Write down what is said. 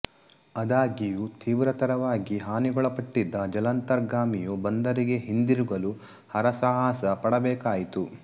ಆದಾಗ್ಯೂ ತೀವ್ರತರವಾಗಿ ಹಾನಿಗೊಳಪಟ್ಟಿದ್ದ ಜಲಾಂತರ್ಗಾಮಿಯು ಬಂದರಿಗೆ ಹಿಂದಿರುಗಲು ಹರಸಾಹಸ ಪಡಬೇಕಾಯಿತು